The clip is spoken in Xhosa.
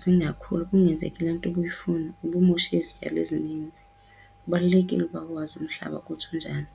zingakhuli, kungenzeki le nto ubuyifuna, ube umoshe izityalo ezininzi. Kubalulekile ukuba uwazi umhlaba ukuthi unjani.